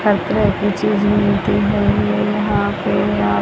हर तरह की चीज मिलती हैं ये यहां पे आप